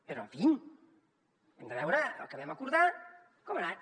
però en fi hem de veure el que vam acordar com ha anat